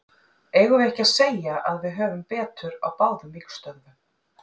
Eigum við ekki að segja að við höfum betur á báðum vígstöðvum?